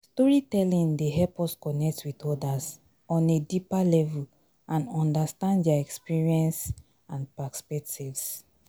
storytelling dey help us connect with odas on a deeper level and understand dia experiences and perspectives.